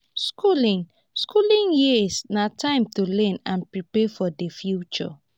skooling skooling years na time to learn and prepare for di future.